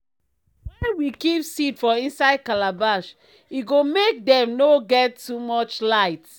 wen we keep seed for inside calabash e go make dem nor get too much light.